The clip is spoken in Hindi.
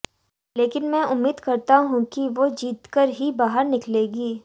लेकिन मैं उम्मीद करता हूं कि वो जीत कर ही बाहर निकलेंगी